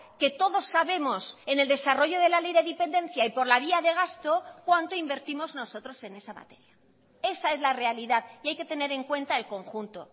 que todos sabemos en el desarrollo de la ley de dependencia y por la vía de gasto cuánto invertimos nosotros en esa materia esa es la realidad y hay que tener en cuenta el conjunto